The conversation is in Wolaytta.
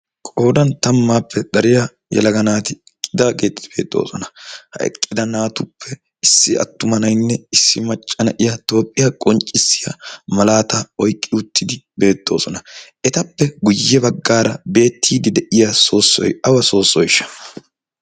qoodan tammaappe dariya yalaga naati iqqidaa geettidi beetoosona. ha eqqida naatuppe issi attumanainne issi maccana iya toophphiyaa qonccissiya malaata oiqqi uttidi beettoosona etappe guyye baggaara beettiidi de'iya soossoy awa soossoyshsha?